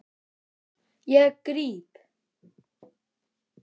Ég gríp.